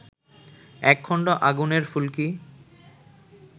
এক খণ্ড আগুনের ফুলকি